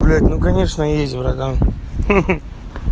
блять ну конечно есть братан ха-ха